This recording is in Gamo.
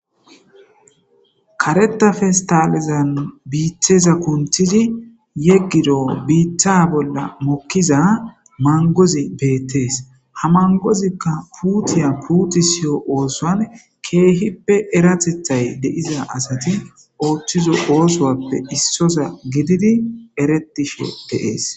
Karata pesitalezzanni bitazza kunittidi yegiddo bita bolla mokiza manigozzi betees.haa manigozzikka putiya putisiyo oththuwanni kehippe erateththiy de'izza asati oththizzo oththuwappe issozza gididi eretishshe de'ees.